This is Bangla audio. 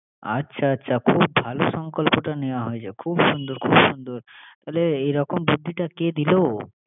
আচ্ছা আচ্ছা। খুব ভালো সংকল্পটা নেয়া হয়েছে। খুব সুন্দর, খুব সুন্দর। তাহলে এরকম বুদ্ধিটা কে দিলো?